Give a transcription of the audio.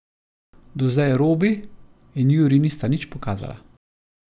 Do zdaj Robi in Jurij nista nič pokazala.